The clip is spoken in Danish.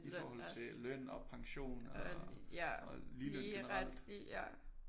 I forhold til løn og pension og ligeløn generelt